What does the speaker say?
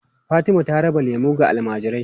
Fatima ta raba lemu ga almajirai.